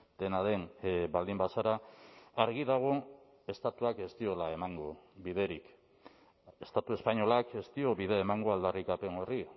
dena den baldin bazara argi dago estatuak ez diola emango biderik estatu espainolak ez dio bide emango aldarrikapen horri